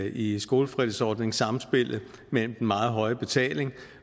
i skolefritidsordning samspillet mellem den meget høje betaling